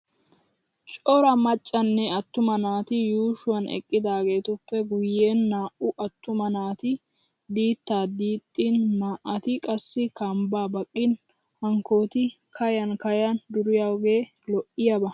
Cora maccanne attuma naati yuushuwan eqqidaageetuppe guyyen naa"u attuma naati diittaa diixxin naa"ati qassi kambbaa baqqin hankkooti kayan kayan duriyoogee lo'iyaaba.